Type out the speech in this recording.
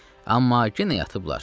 Amma yenə yatıblar.